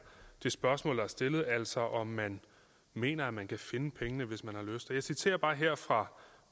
det spørgsmål der er stillet altså om man mener man kan finde pengene hvis man har lyst og jeg citerer bare her fra